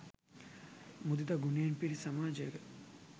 මුදිතා ගුණයෙන් පිරි සමාජයක